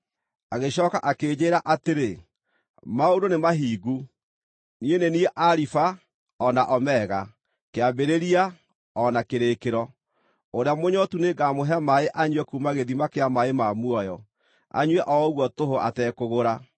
Agĩcooka akĩnjĩĩra atĩrĩ: “Maũndũ nĩmahingu. Niĩ nĩ niĩ Alifa o na Omega, Kĩambĩrĩria o na Kĩrĩkĩro. Ũrĩa mũnyootu nĩngamũhe maaĩ anyue kuuma gĩthima kĩa maaĩ ma muoyo, anyue o ũguo tũhũ atekũgũra.